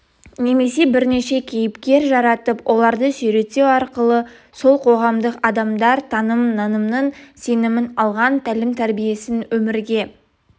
немесе бірнеше кейіпкер жаратып оларды суреттеу арқылы сол қоғамдық адамдар таным-нанымын сенімін алған тәлім-тәрбиесін өмірге